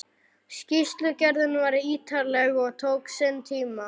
Skýrslugerðin var ítarleg og tók sinn tíma.